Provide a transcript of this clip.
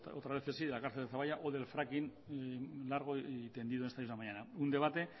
otras veces sí de la cárcel de zaballa o del fracking largo y tendido en esta misma mañana un debate